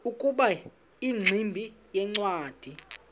ukuba ingximba yincwadi